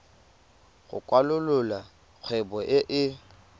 go kwalolola kgwebo e e